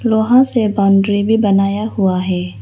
लोहा से बाउंड्री भी बनाया हुआ है।